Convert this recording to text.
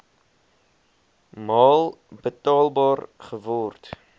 maal betaalbaar geword